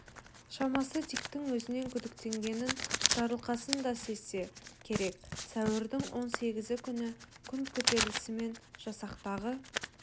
шамасы диктің өзінен күдіктенгенін жарылқасын да сезсе керек сәуірдің он сегізі күні күн көтерілісімен жасақтағы